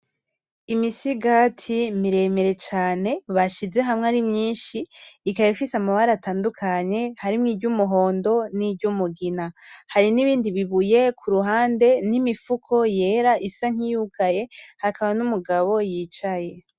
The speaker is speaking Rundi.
imisigati miremire cane bashize hamwe ari myinshi ikaba ibise amabara atandukanye harimwo iryumuhondo niryumugina, hari nibindi bibuye kuruhande nimifuko yera isa nkiyugaye hakaba hari numugabo yicaye.